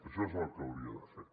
això és el que hauria de fer